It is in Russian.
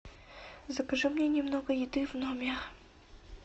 закажи мне немного еды в номер